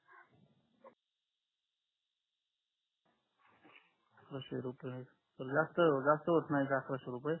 अकरक्षे रुपयात काही काही जास्त होत नाहीत अकरक्षे रुपये